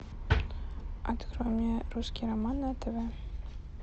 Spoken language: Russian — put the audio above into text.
открой мне русский роман на тв